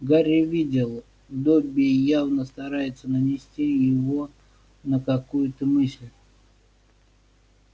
гарри видел добби явно старается навести его на какую-то мысль